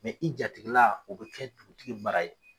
Mɛ i jatigila o bɛ kɛ dugutigi mara ye.